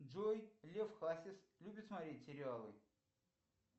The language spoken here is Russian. джой лев хасис любит смотреть сериалы